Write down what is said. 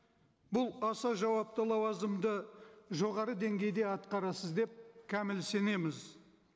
бұл аса жауапты лауазымды жоғары деңгейде атқарасыз деп кәміл сенеміз